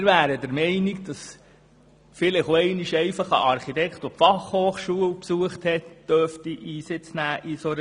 Wir sind der Meinung, dass in einer solchen Jury vielleicht auch einmal ein Architekt Einsitz nehmen dürfte, der die Fachhochschule gemacht hat.